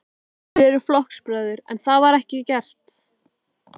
Þið eruð flokksbræður, en það var ekki gert?